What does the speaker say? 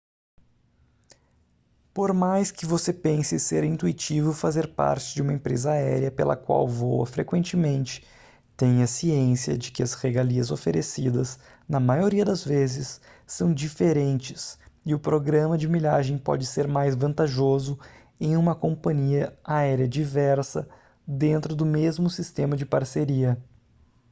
por mais que você pense ser intuitivo fazer parte de uma empresa aérea pela qual voa frequentemente tenha ciência de que as regalias oferecidas na maioria das vezes são diferentes e o programa de milhagem pode ser mais vantajoso em uma companhia aérea diversa dentro do mesmo sistema de parceria